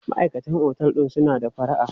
Maʼaikatan otel din suna da fara'a.